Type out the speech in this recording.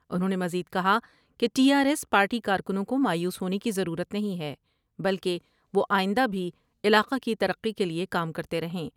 انھوں نے مزید کہا کہ ٹی آرایس پارٹی کارکنوں کو مایوس ہونے کی ضرورت نہیں ہے بلکہ وہ آئندہ بھی علاقہ کی ترقی کے لئے کام کرتے رہیں ۔